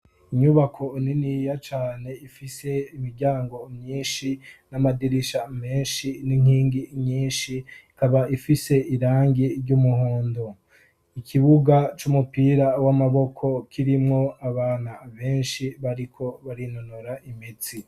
Inyubako niniya cane ifise imiryango myinshi n'amadirisha menshi n'inkingi nyinshi ikaba ifise irangi ry'umuhondo ikibuga c'umupira w'amaboko kirimwo abana benshi bariko barinonora imitsi.